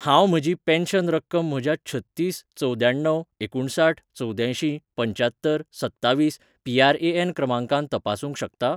हांव म्हजी पेन्शन रक्कम म्हज्या छत्तीस चवद्याण्णव एकुणसाठ चवद्यांयशीं पंच्यात्तर सत्तवीस पी.आर.ए.एन. क्रमांकान तपासूंक शकता ?